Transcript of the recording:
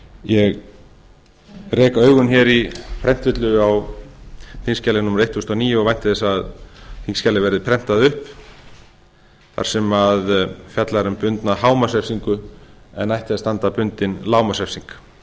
ég rek augun hér í prentvillu á þingskjali númer eitt þúsund og níu og vænti þess að þingskjalið verði prentað upp þar sem fjallar um bundna hámarksrefsingu en ætti að standa bundin lágmarksrefsing